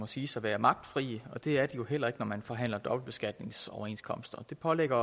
siges at være magtfrie og det er der jo heller ikke når man forhandler dobbeltbeskatningsoverenskomster det pålægger